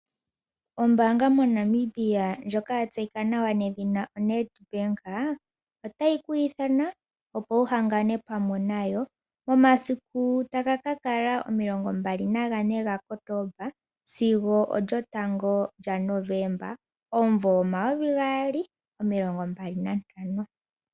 Ombaanga moNamibia ndjoka ya tseyika nawa nedhina Nedbank otayi ku ithana, opo wu hangane pamwe nayo momasiku sho taga ka kala 24 gaKotomba sigo 1 Novemba 2025.